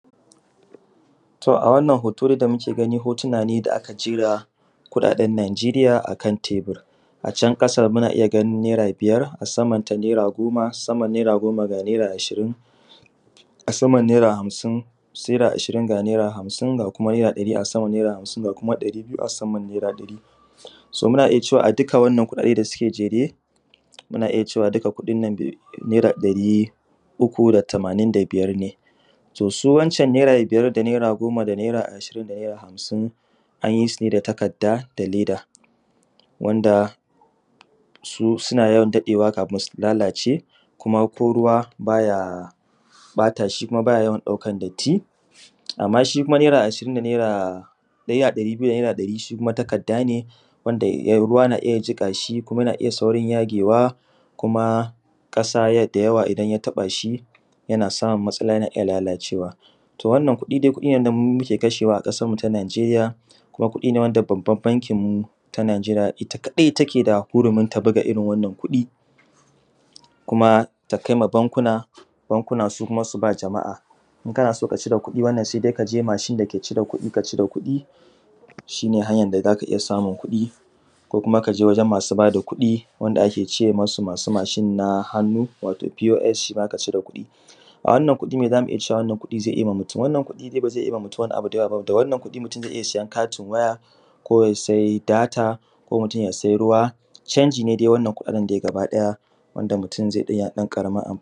To a wannan hoto dai da mUke gani hotuna ne dai a aka jera kuɗaɗen najeriya akan tebur. A can ƙasa muna iya ganin naira biyar a saman ta naira goma, saman naira goma ga naira ashirin a saman naira hamsin saira ashirin ga naira hamsin ga kuma naira ɗari a saman naira hamsin ga kuma ɗari biyu a saman naira ɗari. So muna iya cewa a dukkan wannan kuɗaɗen da suke jere, muna iya cewa duka kuɗinnan naira ɗari uku da tamanin da biyar ne. to su wan can Naira Biyar da naira Goma da naira Ashirin da naira Hamsin anyi sune da takadda da leda, wanda su suna yawan daɗewa kafin su lalace kuma ko ruwa baya ɓatashi kuma baya yawan ɗaukan datti. Amma shi kuma naira Ashirin da naira ɗari biyu da naira ɗari shi kuma takardane wanda ruwa na iya jiƙashi kuma yana iya saurin yagewa kuma ƙasa da yawa idan ya taɓashi yana samun matsala yana iya lalacewa. Wannan kuɗi dai kuɗi ne wanda muke kashewa a ƙasar mu ta nigeriya kumakuɗi ne wanda babban bankin mu ta nigeriya ita kadai keda hurumin ta buga wannan kuɗi, kuma takaima bankuna bankuna kuma su bawa jama’a in kanaso ka cire kuɗi wannan sai dai kaje mashin dake cire kuɗi ka cire kuɗi shine hanyan da zaka iya samun kuɗi ko kuma kaje wajen masu bada kuɗi na hannu wanda akece musu mashin na hannu wato p o s shima ka cire kuɗi. a wannan kuɗi me zamu iya cewan wannan kuɗi zai iyama mutun wannan kuɗi dai bazai iya ba mutun wani abu da yawwa ba. Wannan kuɗi zai iya ba mutun katin waya ko yasai data ko mutun ya sai ruwa chanjin dai wannan kuɗaɗen gaba ɗaya wanda mutun zai iya ɗan ƙaramar amfani.